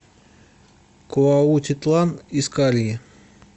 куаутитлан искальи